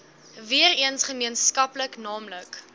weereens gemeenskaplik naamlik